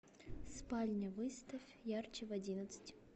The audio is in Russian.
спальня выставь ярче в одиннадцать